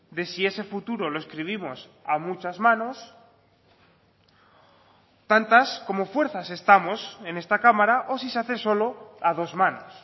de si ese futuro lo escribimos a muchas manos tantas como fuerzas estamos en esta cámara o si se hace solo a dos manos